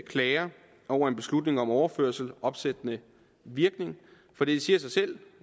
klager over en beslutning om overførsel opsættende virkning for det siger sig selv